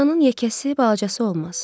Yalanın yekəsi balacası olmaz.